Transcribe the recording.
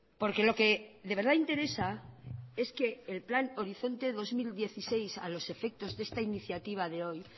porque lo que de verdad interesa es que el plan horizonte dos mil dieciséis a los efectos de esta iniciativa de hoy